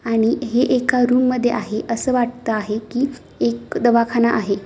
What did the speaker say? आणि हे एका रूम मध्ये आहे. अस वाटत आहे कि एक दवाखाना आहे.